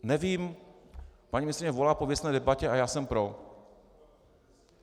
Nevím, paní ministryně volá po věcné debatě a já jsem pro.